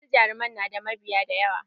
Wasu jaruman na da mabiya da yawa